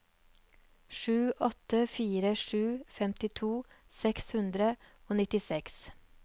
sju åtte fire sju femtito seks hundre og nittiseks